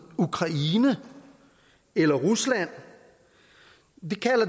ukraine eller rusland